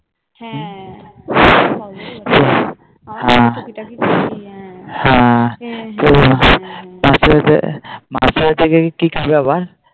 হ্যাঁ দিয়ে হ্যাঁ মাসির বাড়িতে গিয়ে কি খাবে আবার